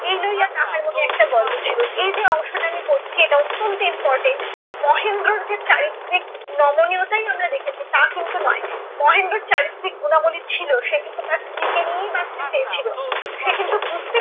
এই লইয়া তাহার মনে একটা গর্ব ছিল। এই যে অংশ টা আমি পড়ছি এটা অত্যন্ত important মহেন্দ্রর যে চারিত্রিক নমনীয়তাই আমরা দেখেছি তা কিন্তু নয়। মহেন্দ্রর চারিত্রিক গুণাবলী ছিল, সে কিন্তু তার স্ত্রীকে নিয়েই বাঁচতে চেয়েছিল। সে কিন্তু বুঝতে